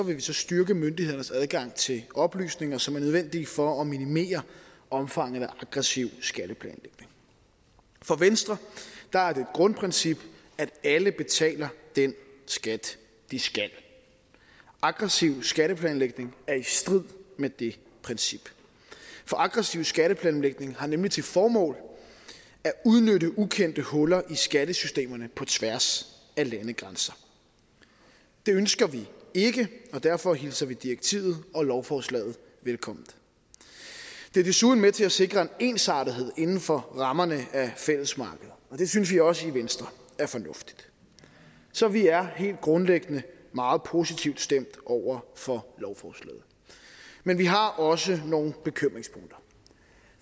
vi styrke myndighedernes adgang til oplysninger som er nødvendige for at minimere omfanget af aggressiv skatteplanlægning for venstre er det grundprincip at alle betaler den skat de skal aggressiv skatteplanlægning er i strid med det princip for aggressiv skatteplanlægning har nemlig til formål at udnytte ukendte huller i skattesystemerne på tværs af landegrænser det ønsker vi ikke og derfor hilser vi direktivet og lovforslaget velkomment det er desuden med til at sikre en ensartethed inden for rammerne af fællesmarkedet og det synes vi også i venstre er fornuftigt så vi er helt grundlæggende meget positivt stemt over for lovforslaget men vi har også nogle bekymringspunkter